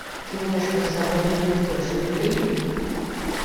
киношка с собой не унесешь набери